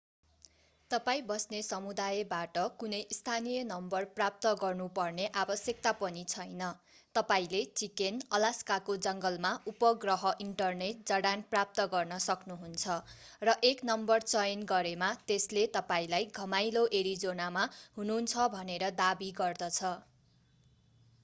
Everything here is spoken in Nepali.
तपाईं बस्ने समुदायबाट कुनै स्थानीय नम्बर प्राप्त गर्नुपर्ने आवश्यकता पनि छैन तपाईंले चिकेन अलास्काको जङ्गलमा उपग्रह इन्टरनेट जडान प्राप्त गर्न सक्नुहुन्छ र एक नम्बर चयन गरेमा त्यसले तपाईंलाई घमाइलो एरिजोनामा हुनुहुन्छ भनेर दाबी गर्दछ